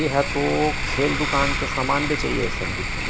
ये ह तो खेल दुकान के समान बेचइया असन दिखथे--